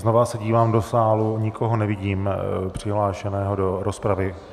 Znova se dívám do sálu, nikoho nevidím přihlášeného do rozpravy.